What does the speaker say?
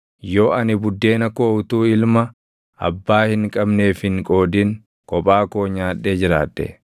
yoo ani buddeena koo utuu ilma abbaa hin qabneef hin qoodin kophaa koo nyaadhee jiraadhe,